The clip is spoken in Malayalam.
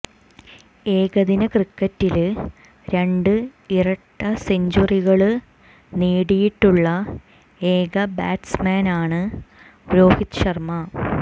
ഏകദിന ക്രിക്കറ്റില് രണ്ട് ഇരട്ട സെഞ്ചുറികള് നേടിയിട്ടുള്ള ഏക ബാറ്റ്സ്മാനാണ് രോഹിത് ശര്മ